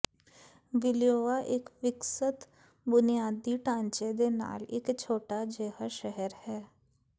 ਵਿਲਿਯੋਆ ਇੱਕ ਵਿਕਸਤ ਬੁਨਿਆਦੀ ਢਾਂਚੇ ਦੇ ਨਾਲ ਇਕ ਛੋਟਾ ਜਿਹਾ ਸ਼ਹਿਰ ਹੈ